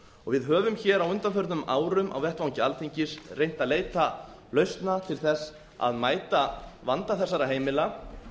við höfum á undanförnum árum á vettvangi alþingis reynt að leita lausna til að mælta vanda þessara heimila